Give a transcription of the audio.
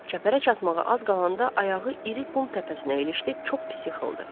Çəpərə çatmağa az qalanda ayağı iri qum təpəsinə ilişdi, çox pis yıxıldı.